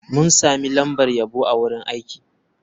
Mun sami lambar yabo a wurin aiki.